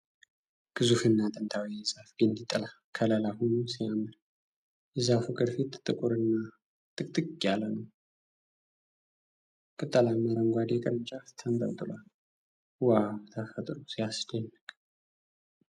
ግዙፍና ጥንታዊ የዛፍ ግንድ ጥላ ከለላ ሁኖ ሲያምር ። የዛፉ ቅርፊት ጥቁር እና ጥቅጥቅ ያለ ነው። ቅጠላማ አረንጓዴ ቅርንጫፍ ተንጠልጥሏል። ዋው! ተፈጥሮ ሲያስደንቅ!